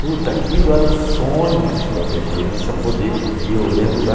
Puta, aquilo era o sonho de qualquer criança poder... E eu lembro da...